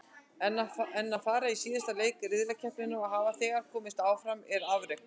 En að fara í síðasta leik riðlakeppninnar og hafa þegar komist áfram er afrek.